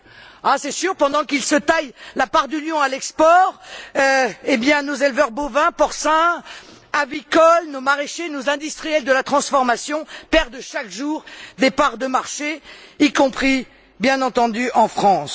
Ah, c'est sûr, pendant que ceux là se taillent la part du lion à l'exportation, nos éleveurs bovins, porcins, avicoles, nos maraîchers, nos industriels de la transformation perdent chaque jour des parts de marché, y compris, bien entendu, en France.